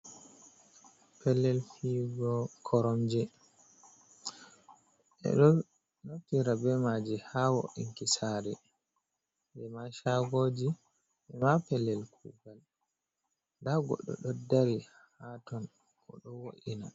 Pellel fiyugo koromje, ɓe ɗo naftira be maaji haa wo''inki saare, ema caagooji, ema pellel kuugal, ndaa goɗɗo ɗo dari, haa ton o ɗo wo’ina.